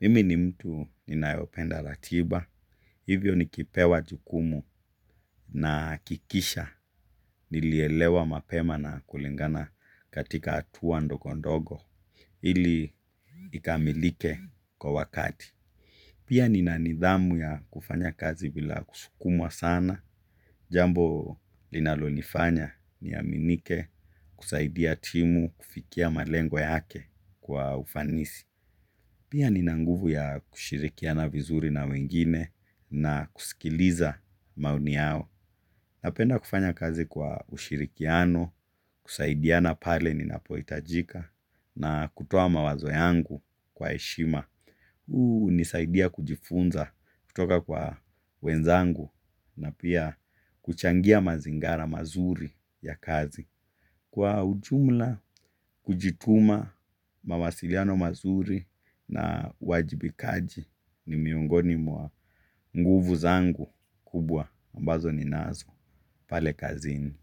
Mimi ni mtu ninayo penda ratiba. Hivyo nikipewa jukumu nahakikisha. Nilielewa mapema na kulingana katika hatua ndogo ndogo. Ili ikamilike kwa wakati. Pia nina nidhamu ya kufanya kazi bila kusukumwa sana. Jambo linalo nifanya niaminike kusaidia timu kufikia malengo yake kwa ufanisi. Pia nina nguvu ya kushirikiana vizuri na wengine na kusikiliza maoni yao. Napenda kufanya kazi kwa ushirikiano kusaidiana pale ninapohitajika na kutoa mawazo yangu kwa heshima. Huu hunisaidia kujifunza kutoka kwa wenzangu na pia kuchangia mazingara mazuri ya kazi. Kwa ujumla kujituma mawasiliano mazuri na uwajibikaji ni miongoni mwa nguvu zangu kubwa ambazo ninazo. Pale kazini.